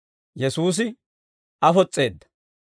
Yesuusi afos's'eedda.